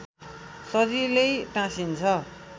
सजिलै टाँसिन्छ